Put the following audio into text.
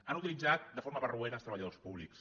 han utilitzat de forma barroera els treballadors pú·blics